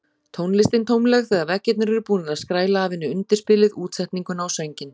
Tónlistin tómleg þegar veggirnir eru búnir að skræla af henni undirspilið útsetninguna og sönginn.